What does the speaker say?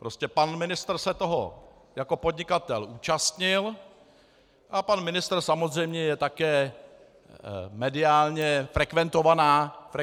Prostě pan ministr se toho jako podnikatel účastnil a pan ministr samozřejmě je také mediálně frekventovaná osoba.